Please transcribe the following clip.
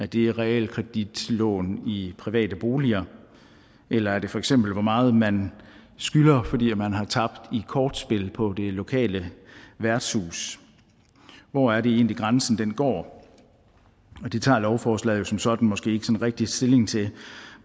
det realkreditlån i private boliger eller er det feks hvor meget man skylder fordi man har tabt i kortspil på det lokale værtshus hvor er det egentlig grænsen går det tager lovforslaget jo som sådan måske ikke rigtig stilling til